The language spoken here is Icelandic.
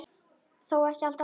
Þó ekki alltaf.